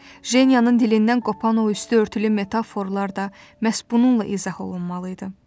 Jenyannın dilindən qopan o üstü örtülü metaforalar da məhz bununla izah olunmalı idi.